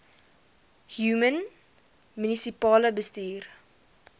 human munisipale bestuurder